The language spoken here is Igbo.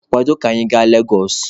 Kwado ka anyị gaa Legosụ!